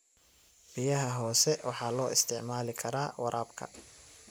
Biyaha hoose waxa loo isticmaali karaa waraabka.